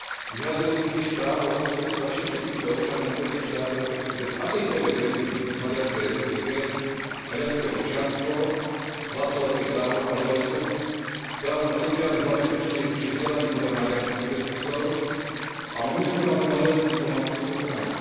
Vyhradilo si tiež právo poskytovať všetkým týmto občanom okolitých štátov, ktorí sú bez akejkoľvek väzby k Maďarskej republike, maďarské občianstvo, hlasovacie právo v Maďarsku, právo na sociálne zabezpečenie či vzdelanie podľa maďarských predpisov a univerzálnu maďarskú diplomatickú ochranu.